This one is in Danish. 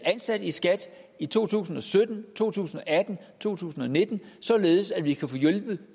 ansat i skat i to tusind og sytten to tusind og atten og to tusind og nitten således at vi kan få hjulpet